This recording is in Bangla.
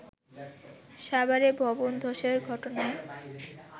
সাভারে ভবন ধসের ঘটনায়